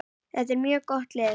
Þetta er mjög gott lið.